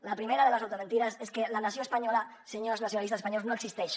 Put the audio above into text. la primera de les automentides és que la nació espanyola senyors nacionalistes espanyols no existeix